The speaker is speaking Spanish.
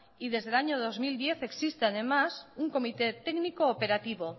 y desde el año dos mil diez existe además un comité técnico operativo